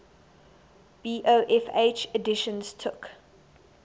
bofh editions took